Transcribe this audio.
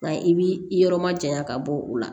Nka i bi yɔrɔ ma jaɲa ka bɔ o la